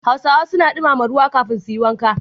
Hausa suna dumama ruwa kafin su yi wanka.